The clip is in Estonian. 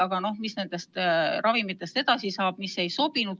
Aga mis saab nendest ravimitest, mis ei sobinud?